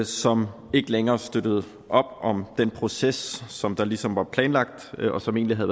som ikke længere støttede op om den proces som der ligesom var planlagt og som egentlig havde